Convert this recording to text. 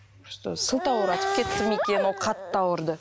просто сылтауратып кетті ме екен ол қатты ауырды